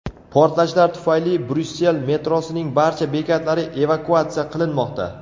Portlashlar tufayli Bryussel metrosining barcha bekatlari evakuatsiya qilinmoqda .